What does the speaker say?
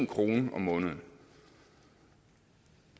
kroner om måneden